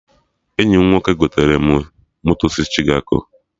Enyi m nwoke gotere m moto si Chikago